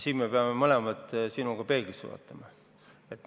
Siin me peame mõlemad peeglisse vaatama.